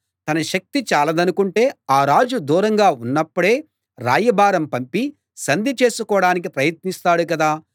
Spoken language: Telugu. తన శక్తి చాలదనుకుంటే ఆ రాజు దూరంగా ఉన్నప్పుడే రాయబారం పంపి సంధి చేసుకోడానికి ప్రయత్నిస్తాడు కదా